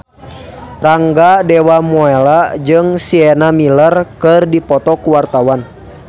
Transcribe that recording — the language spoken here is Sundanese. Rangga Dewamoela jeung Sienna Miller keur dipoto ku wartawan